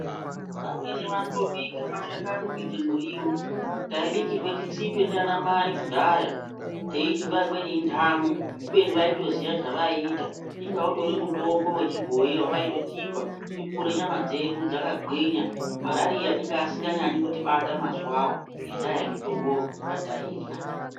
Vamweni vanotobika mashakani kuita muriwo taibikirwa chitsipe nana Mai kudhaya teiti nguwa imweni indamo kubeni vaitoziya zvavaita inga utori mutombo wechibhoyi wavaitotipa tikure nyama dzedu dzakagwinya .Marariya anga asinganyanyi kutibata mazuwawo nenyaya yemutombo yatairya.